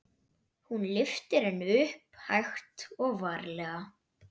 Hún lyftir henni upp, hægt og varlega.